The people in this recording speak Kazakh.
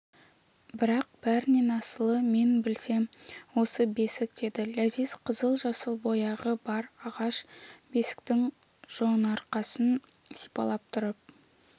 бірақ бәрінен асылы мен білсем осы бесік деді ләзиз қызыл-жасыл бояғы бар ағаш бесіктің жонарқасын сипалап тұрып